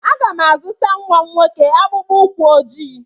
Aga m azụta nwa m nwoke akpụkpọ ụkwụ ojii.